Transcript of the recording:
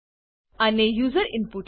અને user input લઇ